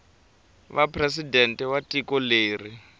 va presidente wa tiko leri